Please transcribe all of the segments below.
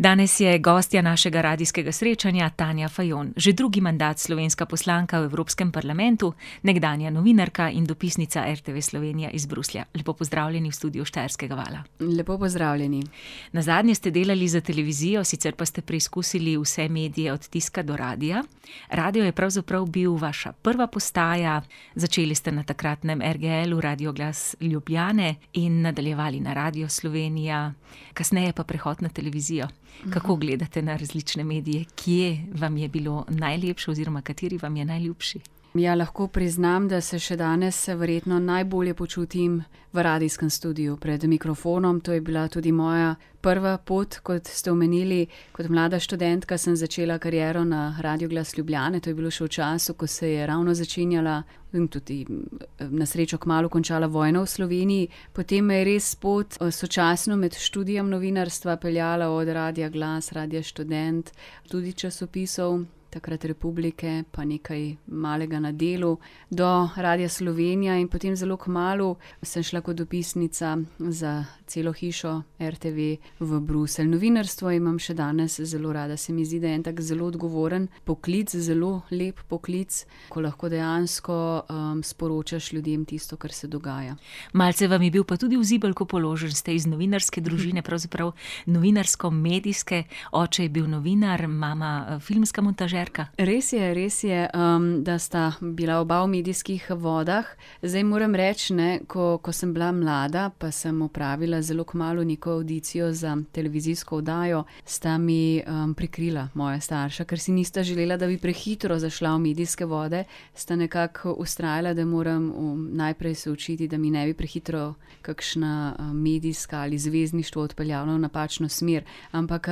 Danes je gostja našega radijskega srečanja Tanja Fajon. Že drugi mandat slovenska poslanka v Evropskem parlamentu, nekdanja novinarka in dopisnica RTV Slovenije iz Bruslja. Lepo pozdravljeni v studiu Štajerskega vala. lepo pozdravljeni. Nazadnje ste delali za televizijo, sicer pa ste preizkusili vse medije, od tiska do radia. Radio je pravzaprav bil vaša prva postaja, začeli ste na takratnem RGL-u, Radio glas Ljubljane in nadaljevali na Radiu Slovenija, kasneje pa prehod na televizijo. Kako gledate na različne medije? Kje vam je bilo najlepše oziroma kateri vam je najljubši? Ja, lahko priznam, da se še danes verjetno najbolje počutim v radijskem studiu, pred mikrofonom, to je bila tudi moja prva pot, kot ste omenili, kot mlada študentka sem začela kariero na Radiu glas Ljubljane, to je bilo še v času, ko se je ravno začenjala in tudi, na srečo kmalu končala vojna v Sloveniji. Potem me je res pot sočasno med študijem novinarstva peljala od Radia glas, Radia študent, tudi časopisov, takrat Republike pa nekaj malega na Delu do Radia Slovenija in potem zelo kmalu sem šla kot dopisnica za celo hišo RTV v Bruselj. Novinarstvo imam še danes zelo rada. Se mi zdi, da je en tak zelo odgovoren poklic. Zelo lep poklic, ko lahko dejansko, sporočaš ljudem tisto, kar se dogaja. Malce vam je bil pa tudi v zibelko položen. Ste iz novinarske družine, pravzaprav novinarsko-medijske. Oče je bil novinar, mama filmska montažerka. Res je, res je, da sta bila oba v medijskih vodah. Zdaj moram reči, ne, ko, ko sem bila mlada, pa sem opravila zelo kmalu neko avdicijo za televizijsko oddajo, sta mi, prikrila, moja starša, kar si nista želela, da bi prehitro zašla v medijske vode, sta nekako vztrajala, da moram najprej se učiti, da mi ne bi prehitro kakšna, medijska ali zvezdništvo odpeljalo v napačno smer. Ampak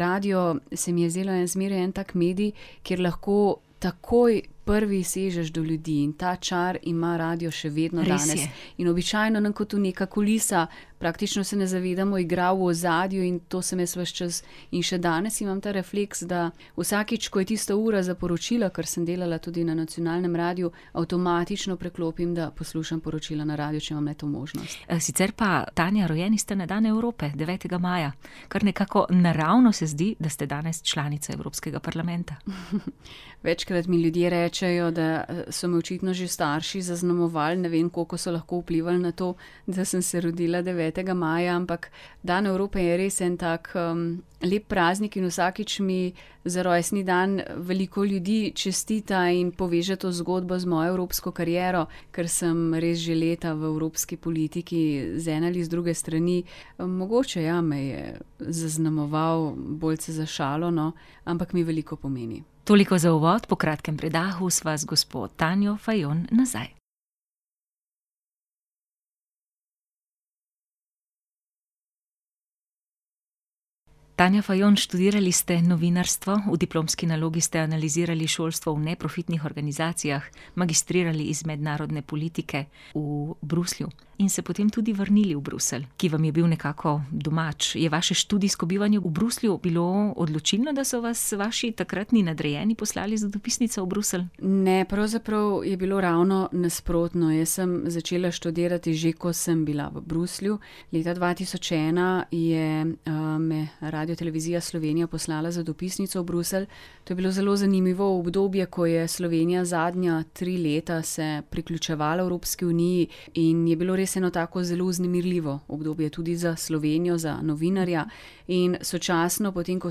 radio se mi je zdel zmeraj en tak medij, kjer lahko takoj prvi sežeš do ljudi in ta čar ima radio še vedno danes. Res je. In običajno nam to ko neka kulisa, praktično se ne zavedamo, igra v ozadju in to sem jaz vas čas in še danes imam ta refleks, da vsakič, ko je tista ura za poročila, ker sem delala tudi na nacionalnem radiu, avtomatično preklopim, da poslušam poročila na radiu, če imam le to možnost. sicer pa, Tanja, rojeni ste na dan Evrope, devetega maja. Kar nekako naravno se zdi, da ste danes članica Evropskega parlamenta. Večkrat mi ljudje rečejo, da, so me očitno že starši zaznamovali, ne vem, kako so lahko vplivali na to, da sem se rodila devetega maja, ampak dan Evrope je res en tak, lep praznik in vsakič mi za rojstni dan veliko ljudi čestita in poveže to zgodbo z mojo evropsko kariero. Ker sem res že leta v evropski politiki z ene ali z druge strani. mogoče, ja, me je zaznamoval boljce za šalo, no, ampak mi veliko pomeni. Toliko za uvod, po kratkem predahu sva z gospo Tanjo Fajon nazaj. Magistrirali iz mednarodne politike v Bruslju. In se potem tudi vrnili v Bruselj, ki vam je bil nekako domač. Je vaše študijsko bivanje v Bruslju bilo odločilno, da so vas vaši takratni nadrejeni poslali za dopisnico v Bruselj? Ne, pravzaprav je bilo ravno nasprotno. Jaz sem začela študirati že, ko sem bila v Bruslju. Leta dva tisoč ena je, me Radiotelevizija Slovenija poslala za dopisnico v Bruselj. To je bilo zelo zanimivo obdobje, ko je Slovenija zadnja tri leta se priključevala Evropski uniji in je bilo res eno tako zelo vznemirljivo obdobje, tudi za Slovenijo, za novinarja. In sočasno potem, ko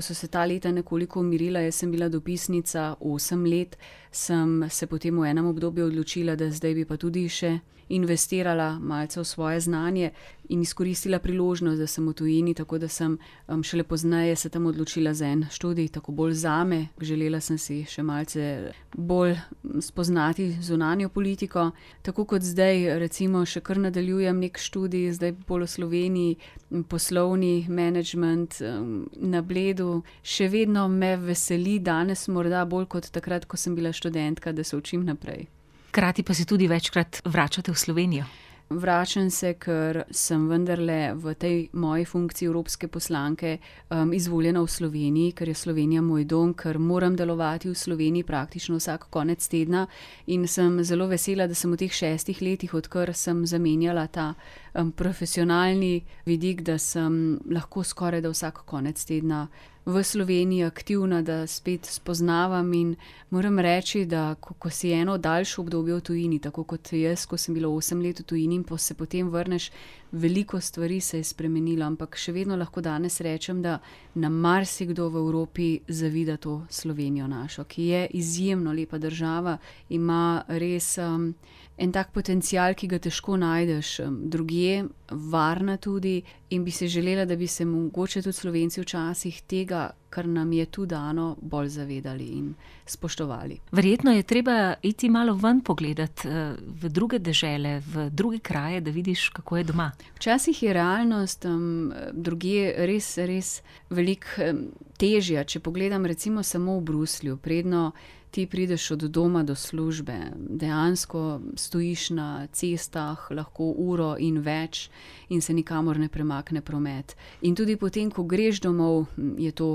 so se ta leta nekoliko umirila, jaz sem bila dopisnica osem let. Sem se potem v enem obdobju odločila, da zdaj bi pa tudi še investirala malce v svoje znanje in izkoristila priložnost, da sem v tujini, tako da sem, šele pozneje se tam odločila za en študij, tako bolj zame. Želela sem si še malce bolj spoznati zunanjo politiko. Tako kot zdaj recimo še kar nadaljujem neki študij zdaj bolj v Sloveniji, poslovni menedžment, na Bledu. Še vedno me veseli, danes morda bolj kot takrat, ko sem bila študentka, da se učim naprej. Hkrati pa se tudi večkrat vračate v Slovenijo. Vračam se, ker sem vendarle v tej moji funkciji evropske poslanke, izvoljena v Sloveniji, ker je Slovenija moj dom, ker moram delovati v Sloveniji praktično vsak konec tedna, in sem zelo vesela, da sem v teh šestih letih, odkar sem zamenjala ta, profesionalni vidik, da sem lahko skorajda vsak konec tedna v Sloveniji aktivna, da spet spoznavam, in moram reči, da ko, ko si eno daljše obdobje v tujini, tako kot jaz, ko sem bila osem let v tujini, in se potem vrneš, veliko stvari se je spremenilo, ampak še vedno lahko danes rečem, da nam marsikdo v Evropi zavida to Slovenijo našo, ki je izjemno lepa država, ima res, en tak potencial, ki ga težko najdeš, drugje. Varna tudi in bi si želela, da bi se mogoče tudi Slovenci včasih tega, kar nam je tu dano, bolj zavedali in spoštovali. Verjetno je treba iti malo ven pogledat, v druge dežele, v druge kraje, da vidiš, kako je doma. Včasih je realnost, drugje res, res veliko, težja, če pogledam recimo samo v Bruslju. Predno ti prideš od doma do službe, dejansko stojiš na cestah lahko uro in več in se nikamor ne premakne promet. In tudi potem, ko greš domov, je to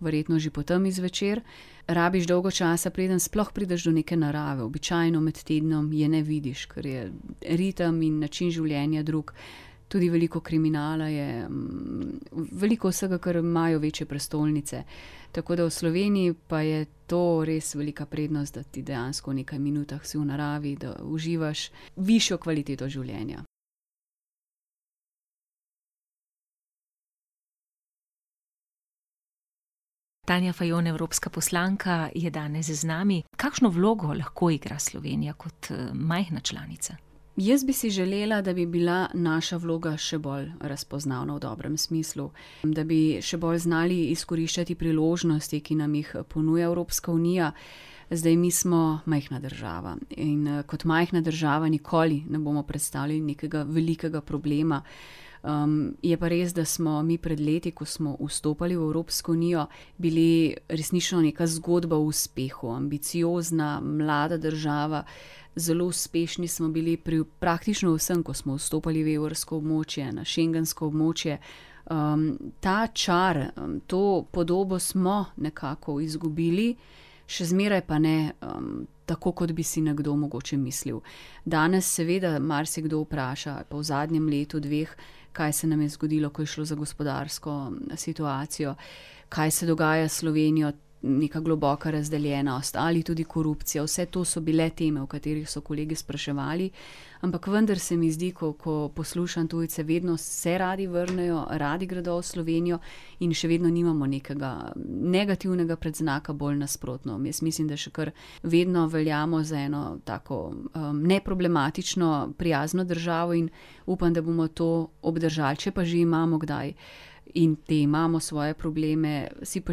verjetno že po temi zvečer, rabiš dolgo časa, preden sploh prideš do neke narave, običajno med tednom je ne vidiš, ker je ritem in način življenja drug. Tudi veliko kriminala je, veliko vsega, kar imajo večje prestolnice. Tako da v Slovenji pa je to res velika prednost, da ti dejansko v nekaj minutah si v naravi, da uživaš višjo kvaliteto življenja. Tanja Fajon, evropska poslanka, je danes z nami. Kakšno vlogo lahko igra Slovenija kot, majhna članica? Jaz bi si želela, da bi bila naša vloga še bolj razpoznavna v dobrem smislu. Da bi še bolj znali izkoriščati priložnosti, ki nam jih ponuja Evropska unija. Zdaj mi smo majhna država. In, kot majhna država nikoli ne bomo prestali nekega velikega problema. je pa res, da smo mi pred leti, ko smo vstopali v Evropsko unijo, bili resnično neka zgodba o uspehu, ambiciozna, mlada država, zelo uspešni smo bili pri praktično vsem, ko smo vstopali v evrsko območje, na schengensko območje. ta čar, to podobo smo nekako izgubili, še zmeraj pa ne, tako kot bi si nekdo mogoče mislil. Danes seveda marsikdo vpraša, pa v zadnjem letu, dveh, kaj se nam je zgodilo, ko je šlo za gospodarsko situacijo. Kaj se dogaja s Slovenijo, neka globoka razdeljenost ali tudi korupcija. Vse to so bile teme, o katerih so kolegi spraševali. Ampak vendar se mi zdi, ko, ko poslušam tujce, vedno se radi vrnejo, radi gredo v Slovenijo. In še vedno nimamo nekega, negativnega predznaka. Bolj nasprotno. Jaz mislim, da še kar vedno veljamo za eno tako, neproblematično, prijazno državo in upam, da bomo to obdržali, če pa že imamo kdaj in potem imamo, svoje probleme, si pa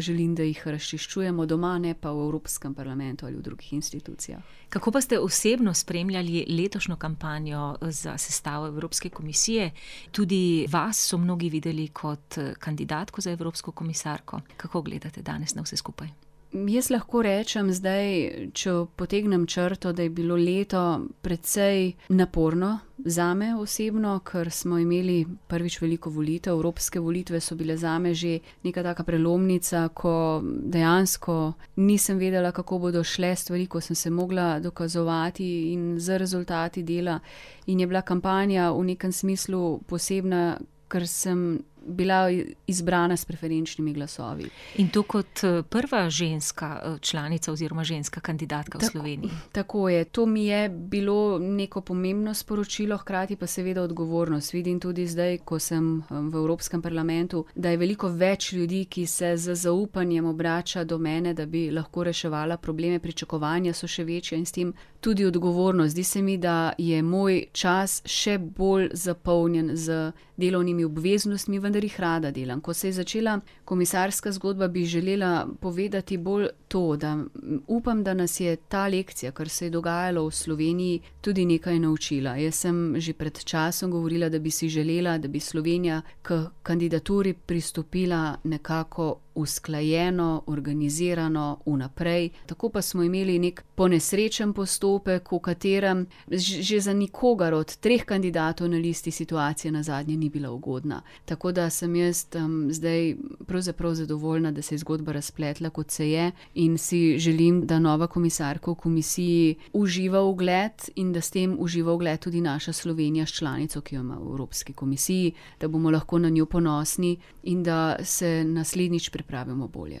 želim, da jih razčiščujemo doma, ne pa v Evropskem parlamentu ali pa drugih inštitucijah. Kako pa ste osebno spremljali letošnjo kampanjo za sestavo Evropske komisije, tudi vas so mnogi videli kot kandidatko za evropsko komisarko. Kako gledate danes na vse skupaj? jaz lahko rečem zdaj, če potegnem črto, da je bilo leto precej naporno, zame osebno, ker smo imeli prvič veliko volitev, evropske volitve so bile zame že neka taka prelomnica, ko dejansko nisem vedela, kako bodo šle stvari, ko sem se mogla dokazovati in z rezultati dela. In je bila kampanja v nekem smislu posebna, ker sem bila izbrana s preferenčnimi glasovi. In to kot prva ženska članica oziroma ženska kandidatka v Sloveniji. Tako je. To mi je bilo neko pomembno sporočilo, hkrati pa seveda odgovornost, vidim tudi zdaj, ko sem, v Evropskem parlamentu, da je veliko več ljudi, ki se z zaupanjem obrača do mene, da bi lahko reševala probleme. Pričakovanja so še večja in s tem tudi odgovornost. Zdi se mi, da je moj čas še bolj zapolnjen z delovnimi obveznostmi. Vendar jih rada delam. Ko se je začela komisarska zgodba, bi želela povedati bolj to, da upam, da nas je ta lekcija, kar se je dogajalo v Sloveniji, tudi nekaj naučila. Jaz sem že pred časom govorila, da bi si želela, da bi Slovenija k kandidaturi pristopila nekako usklajeno, organizirano vnaprej, tako pa smo imeli neki ponesrečen postopek, v katerem že za nikogar od treh kandidatov na listi situacija nazadnje ni bila ugodna. Tako da sem jaz, zdaj pravzaprav zadovoljna, da se je zgodba razpletla, kot se je. In si želim, da nova komisarka v komisiji uživa ugled in da s tem uživa ugled tudi naša Slovenija s članico, ki jo ima v Evropski komisiji. Da bomo lahko na njo ponosni in da se naslednjič pripravimo bolje.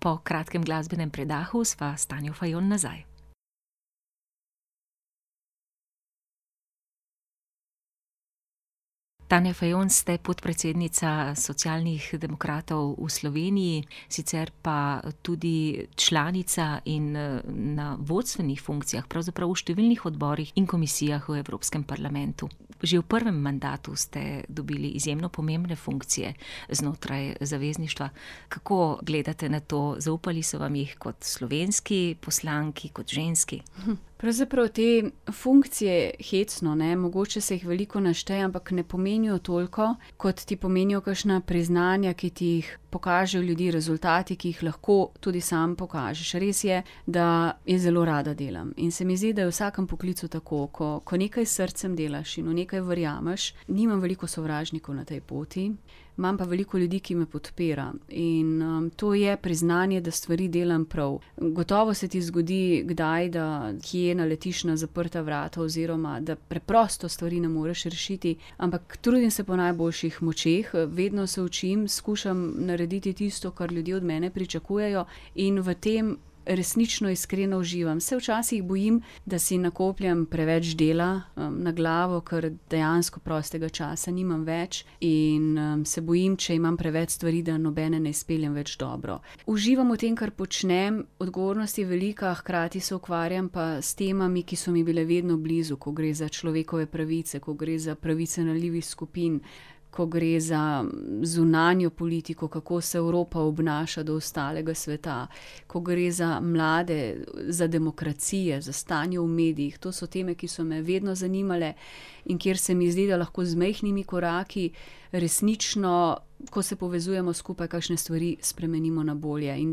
Po kratkem glasbenem predahu sva s Tanjo Fajon nazaj. Tanja Fajon, ste podpredsednica socialnih demokratov v Sloveniji. Sicer pa tudi članica in, na vodstvenih funkcijah, pravzaprav v številnih odborih in komisijah v evropskem parlamentu. Že v prvem mandatu ste dobili izjemno pomembne funkcije znotraj zavezništva. Kako gledate na to? Zaupali so vam jih kot slovenski poslanki, kot ženski. Pravzaprav te funkcije, hecno, ne, mogoče se jih veliko našteje, ampak ne pomenijo toliko, kot ti pomenijo kakšna priznanja, ki ti jih pokažejo ljudje, rezultati, ki jih lahko tudi sam pokažeš. Res je, da jaz zelo rada delam, in se mi zdi, da je v vsakim poklicu tako, ko nekaj s srcem delaš in v nekaj verjameš, nimam veliko sovražnikov na tej poti, imam pa veliko ljudi, ki me podpira, in, to je priznanje, da stvari delam prav. Gotovo se ti zgodi kdaj, da kje naletiš na zaprta vrata oziroma da preprosto stvari ne moreš rešiti. Ampak trudim se po najboljših močeh, vedno se učim, skušam narediti tisto, kar ljudje od mene pričakujejo. In v tem resnično iskreno uživam. Se včasih bojim, da si nakopljem preveč dela, na glavo, kar dejansko prostega časa nimam več. In, se bojim, če imam preveč stvari, da nobene ne izpeljem več dobro. Uživam v tem, kar počnem. Odgovornost je velika, hkrati se ukvarjam pa s temami, ki so mi bile vedno blizu, ko gre za človekove pravice, ko gre za pravice ranljivih skupin. Ko gre za zunanjo politiko, kako se Evropa obnaša do ostalega sveta. Ko gre za mlade, za demokracije, za stanje v medijih, to so teme, ki so me vedno zanimale in kjer se mi zdi, da lahko z majhnimi koraki resnično, ko se povezujmo skupaj, kakšne stvari spremenimo na bolje, in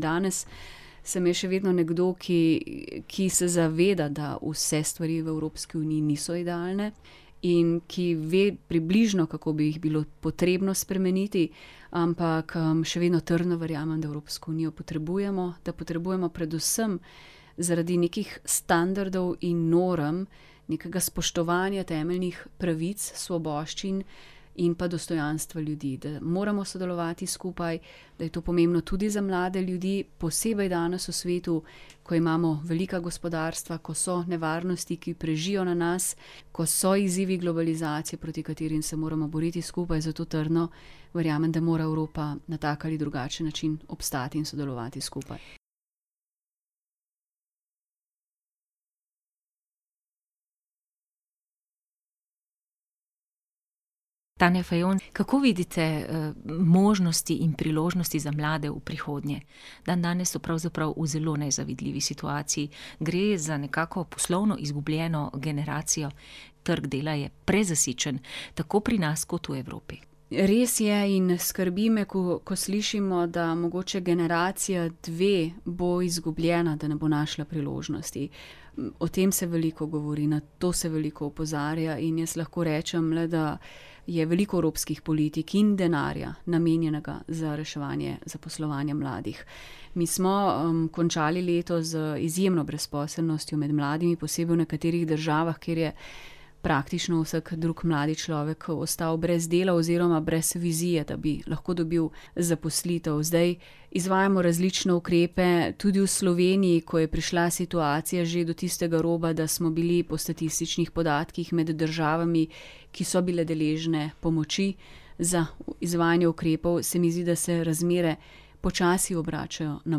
danes se me še vedno nekdo, ki, ki se zaveda, da vse stvari v Evropski uniji niso idealne, in ki ve približno, kako bi jih bilo potrebno spremeniti, ampak, še vedno trdno verjamem, da Evropsko unijo potrebujemo, da potrebujemo predvsem zaradi nekih standardov in norm nekega spoštovanja temeljnih pravic, svoboščin in pa dostojanstva ljudi, da moramo sodelovati skupaj, da je to pomembno tudi za mlade ljudi, posebej danes v svetu, ko imamo velika gospodarstva, ko so nevarnosti, ki prežijo na nas, ko so izzivi globalizacije, proti katerim se moramo boriti skupaj, zato trdno verjamem, da mora Evropa na tak ali drugačen način obstati in sodelovati skupaj. Tanja Fajon, kako vidite, možnosti in priložnosti za mlade v prihodnje? Dandanes so pravzaprav v zelo nezavidljivi situaciji. Gre za nekako poslovno izgubljeno generacijo, trg dela je prezasičen, tako pri nas kot v Evropi. Res je in skrbi me, ko, ko slišimo, da mogoče generacija dve bo izgubljena, da ne bo našla priložnosti. O tem se veliko govori, na to se veliko opozarja. In jaz lahko rečem le, da je veliko evropskih politik in denarja, namenjenega za reševanje zaposlovanja mladih. Mi smo, končali leto z izjemno brezposelnostjo med mladimi, posebej v nekaterih državah, kjer je praktično vsak drug mladi človek ostal brez dela oziroma brez vizije, da bi lahko dobil zaposlitev. Zdaj izvajamo različne ukrepe. Tudi v Sloveniji, ko je prišla situacija že do tistega roba, da smo bili po statističnih podatkih med državami, ki so bile deležne pomoči za izvajanje ukrepov, se mi zdi, da se razmere počasi obračajo na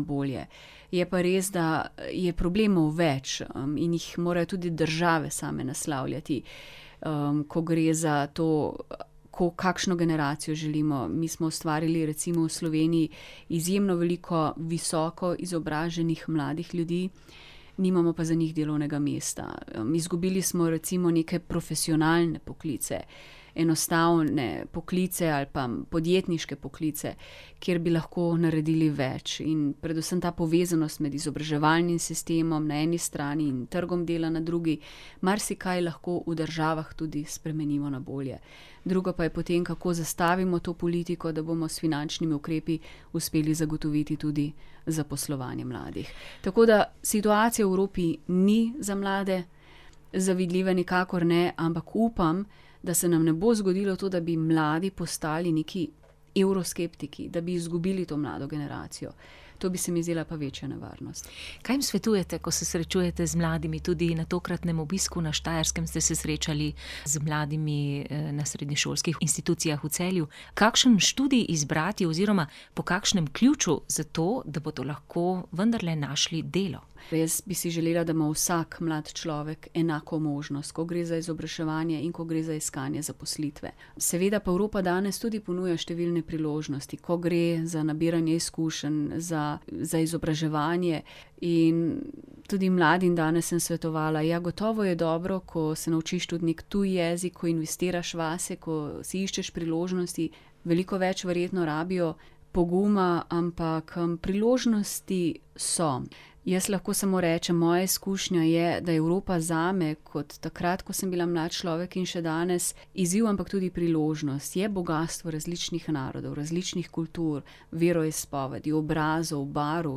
bolje. Je pa res, da je problemov več in jih morajo tudi države same naslavljati. ko gre za to, ko kakšno generacijo želimo, mi smo ustvarili recimo v Sloveniji izjemno veliko visokoizobraženih mladih ljudi, nimamo pa za njih delovnega mesta, izgubili smo recimo neke profesionalne poklice, enostavne poklice ali pa podjetniške poklice, kjer bi lahko naredili več, in predvsem ta povezanost med izobraževalnim sistemom na eni strani in trgom dela na drugi marsikaj lahko v državah tudi spremenimo na bolje. Drugo pa je potem, kako zastavimo to politiko, da bomo s finančnimi ukrepi uspeli zagotoviti tudi zaposlovanje mladih, tako da situacija v Evropi ni za mlade zavidljiva, nikakor ne, ampak upam, da se nam ne bo zgodilo to, da bodo mladi postali neki evroskeptiki, da bi izgubili to mlado generacijo. To bi se mi zdela pa večja nevarnost. Kaj jim svetujete, ko se srečujete z mladimi? Tudi na tokratnem obisku na Štajerskem ste se srečali z mladimi na srednješolskih institucijah v Celju, kakšen študij izbrati oziroma po kakšnem ključu zato, da bodo lahko vendarle našli delo? Res bi si želela, da ima vsak mlad človek enako možnost, ko gre za izobraževanje in ko gre za iskanje zaposlitve. Seveda pa Evropa danes tudi ponuja številne priložnosti, ko gre za nabiranje izkušenj za, za izobraževanje in tudi mladim danes sem svetovala. Ja, gotovo je dobro, ko se naučiš tudi neki tuji jezik, ko investiraš vase, ko si iščeš priložnosti, veliko več verjetno rabijo poguma, ampak priložnosti so. Jaz lahko samo rečem, moja izkušnja je, da je Evropa zame kot takrat, ko sem bila mlad človek in še danes, izziv, ampak tudi priložnost. Je bogastvo različnih narodov, različnih kultur, veroizpovedi, obrazov, barv,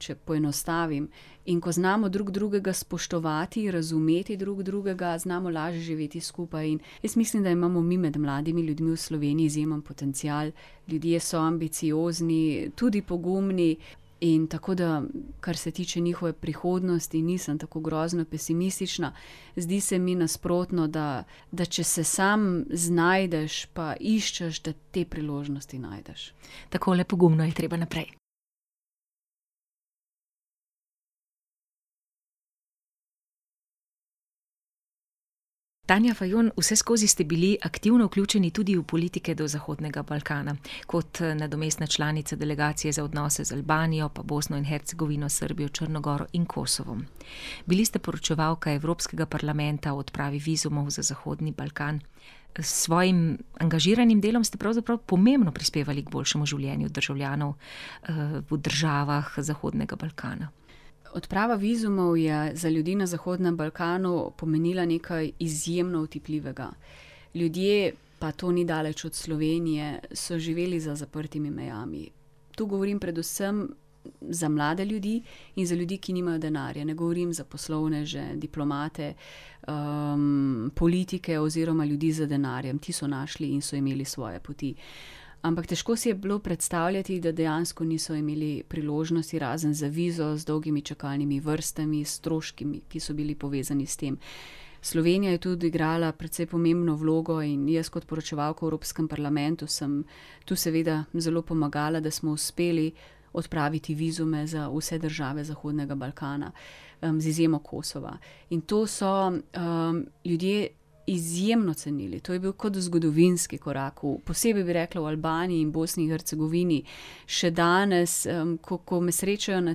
če poenostavim, in ko znamo drug drugega spoštovati, razumeti drug drugega, znamo lažje živeti skupaj, in jaz mislim, da imamo mi med mladimi ljudmi v Sloveniji izjemen potencial. Ljudje so ambiciozni, tudi pogumni in tako da, kar se tiče njihove prihodnosti, nisem tako grozno pesimistična. Zdi se mi nasprotno, da, da če se sam znajdeš pa iščeš, da te priložnosti najdeš. Tako, le pogumno je treba naprej. Tanja Fajon, vseskozi ste bili aktivno vključeni tudi v politike do zahodnega Balkana. Kot nadomestna članica delegacije za odnose z Albanijo pa Bosno in Hercegovino, Srbijo, Črno Goro in Kosovom. Bili ste poročevalka Evropskega parlamenta o odpravi vizumov za zahodni Balkan, s svojim angažiranim delom ste pravzaprav pomembno prispevali k boljšemu življenju državljanov, v državah zahodnega Balkana. Odprava vizumov je za ljudi na zahodnem Balkanu pomenila nekaj izjemno otipljivega. Ljudje, pa to ni daleč od Slovenije, so živeli za zaprtimi mejami. To govorim predvsem za mlade ljudi in za ljudi, ki nimajo denarja. Ne govorim za poslovneže, diplomate, politike, oziroma ljudi z denarjem, ti so našli in so imeli svoje poti. Ampak težko si je bilo predstavljati, da dejansko niso imeli priložnosti, razen za vizo z dolgimi čakalnimi vrstami, s stroški, ki so bili povezani s tem. Slovenija je tu odigrala precej pomembno vlogo in jaz kot poročevalka v Evropskem parlamentu sem tu seveda zelo pomagala, da smo uspeli odpraviti vizume za vse države zahodnega Balkana, z izjemo Kosova. In to so, ljudje izjemno cenili, to je bil kot zgodovinski korak v, posebej bi rekla, v Albaniji in Bosni in Hercegovini. Še danes, ko, ko me srečajo na